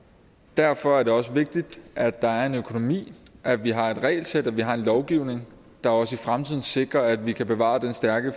derfor er det også vigtigt at der er en økonomi at vi har et regelsæt og at vi har en lovgivning der også i fremtiden sikrer at vi kan bevare den stærke